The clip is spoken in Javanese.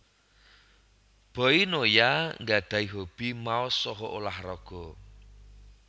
Boy Noya nggadhahi hobi maos saha ulah raga